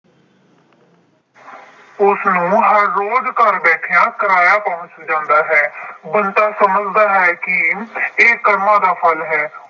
ਉਸਨੂੰ ਹਰ ਰੋਜ ਘਰ ਬੈਠਿਆਂ ਕਿਰਾਇਆ ਪਹੁੰਚ ਜਾਂਦਾ ਹੈ। ਬੰਦਾ ਸਮਝਦਾ ਹੈ ਕਿ ਇਹ ਕਰਮਾਂ ਦਾ ਫਲ ਹੈ।